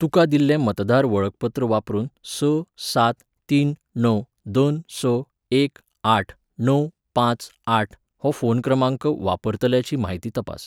तुका दिल्लें मतदार वळखपत्र वापरून स सात तीन णव दोन स एक आठ णव पांच आठ हो फोन क्रमांक वापरतल्याची म्हायती तपास.